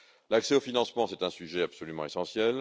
L'accès au financement est un sujet absolument essentiel.